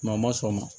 a ma sɔn o ma